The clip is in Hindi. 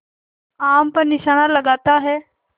आम पर निशाना लगाता है